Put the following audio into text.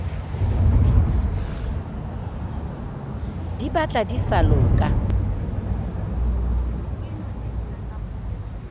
di batla di sa loka